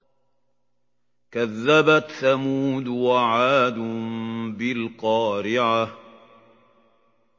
كَذَّبَتْ ثَمُودُ وَعَادٌ بِالْقَارِعَةِ